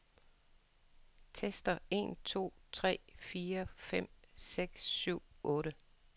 Tester en to tre fire fem seks syv otte.